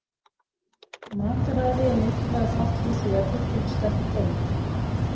Mataræði er mikilvægur þáttur í því að byggja upp sterk bein.